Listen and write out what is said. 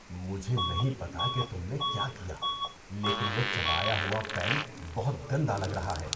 مجھے نہیں پتہ کہ تم نے کیا کِیا لیکن وہ چبایا ہوا پین بہت گندا لگ رہا ہے۔